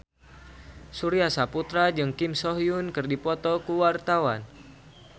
Surya Saputra jeung Kim So Hyun keur dipoto ku wartawan